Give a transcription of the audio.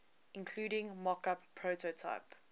including mockup prototype